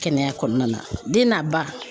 Kɛnɛya kɔnɔna na den n'a ba